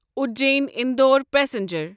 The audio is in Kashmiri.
اُجین اندور پسنجر